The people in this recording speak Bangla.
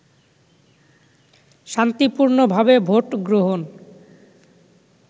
শান্তিপূর্ণভাবে ভোট গ্রহণ